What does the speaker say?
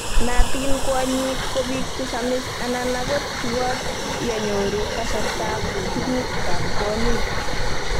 Naatin Kwonyik kobiik che samis anan angot chubot ya nyoru kasartab tuguk ab kwonyik